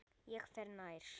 Ég fer nær.